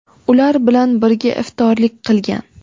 ular bilan birga iftorlik qilgan.